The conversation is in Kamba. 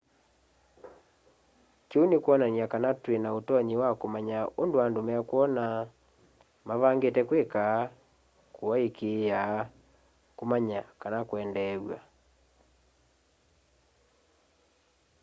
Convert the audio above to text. kiu ni kwonany'a kana twina utonyi wa kumanya undu andu mekwona mavangite kwika kuaikiia kumanya kana kwendeew'a